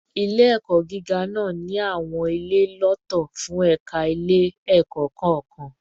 Ile-ẹkọ giga naa ni awọn ile lọtọ fun ẹka ile-ẹkọ kọọkan